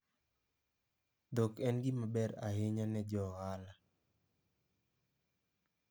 Dhok en gima ber ahinya ne jo ohala.